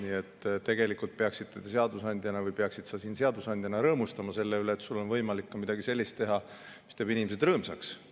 Nii et tegelikult peaksid sa siin seadusandjana rõõmustama selle üle, et sul on võimalik ka midagi sellist teha, mis teeb inimesed rõõmsaks.